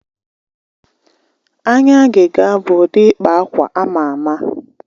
Anya agịga bụ ụdị ịkpa akwa ama ama.